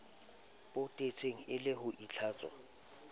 potetseng e le ho itlhatswa